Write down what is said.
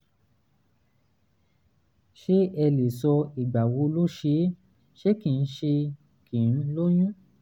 ṣé ẹ lè sọ ìgbà wo ló ṣe é ṣe kí n ṣe kí n lóyún?